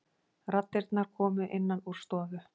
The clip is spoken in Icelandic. Raddirnar komu innan úr stofu.